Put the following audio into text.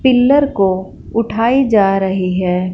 Pillar को उठाई जा रही है।